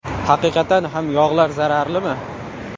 Haqiqatan ham yog‘lar zararlimi?